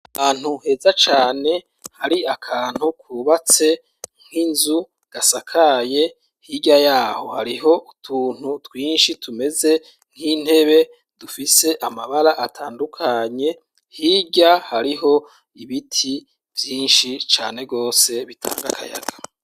Ahantu heza cane hari akantu kubatse nk'inzu gasakaye hirya yaho hariho utuntu twinshi tumeze nk'intebe dufise amabara atandukanye, hirya hariho ibiti vyinshi cane rwose bitanga akayaga.